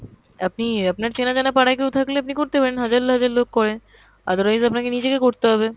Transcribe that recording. আপনি, আপনার চেনা-জানা পাড়াই কেও থাকলে আপনি করতে পারেন, হাজার হাজার লোক করে, otherwise আপনাকে নিজেকে করতে হবে।